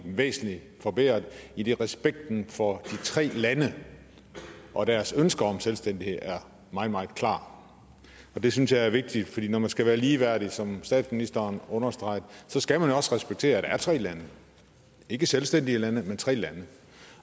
væsentligt forbedret idet respekten for de tre lande og deres ønsker om selvstændighed er meget meget klar det synes jeg er vigtigt for når man skal være ligeværdig som statsministeren understregede så skal man også respektere at der er tre lande ikke selvstændige lande men tre lande